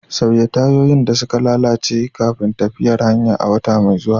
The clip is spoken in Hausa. Sauya tayoyin da suka lalace kafin tafiyar hanya a wata mai zuwa.